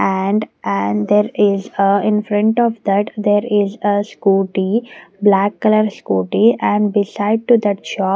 and and there is a in front of that there is a scooty black color scooty and beside to that shop--